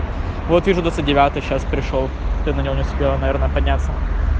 вот вижу двадцать девятый сейчас пришёл ты на него не успела наверно подняться